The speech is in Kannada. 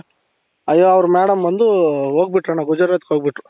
ಅಯ್ಯೋ ಅವರು madam ಬಂದು ಹೋಗ್ಬಿಟ್ರು ಗುಜರಾತ್ ಗೆ ಹೋಗ್ಬಿಟ್ರು